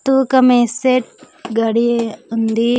తుకాం మేస్తే గడి ఉంది.